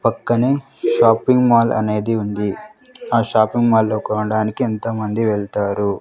పక్కనే shopping mall అనేది ఉంది ఆ షాపింగ్ మాల్ లో కోడానికి ఎంతోమంది వెళ్తారు.